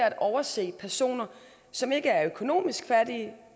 at overse personer som ikke er økonomisk fattige